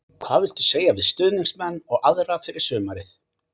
Hvað viltu segja við stuðningsmenn og aðra fyrir sumarið?